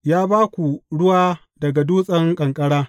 Ya ba ku ruwa daga dutsen ƙanƙara.